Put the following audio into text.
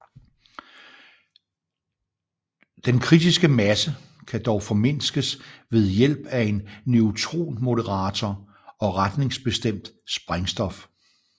Den kritiske masse kan dog formindskes ved hjælp af en neutronmoderator og retningsbestemt sprængstof